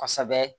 Kosɛbɛ